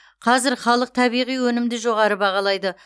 қазір халық табиғи өнімді жоғары бағалайды